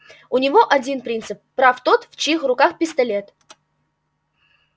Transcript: у него один принцип прав тот в чьих руках пистолет